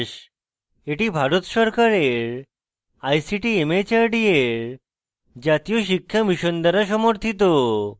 এটি ভারত সরকারের ict mhrd এর জাতীয় শিক্ষা mission দ্বারা সমর্থিত